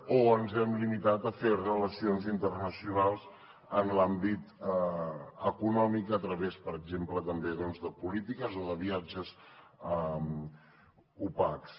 o ens hem limitat a fer relacions internacionals en l’àmbit econòmic a través per exemple també de polítiques o de viatges opacs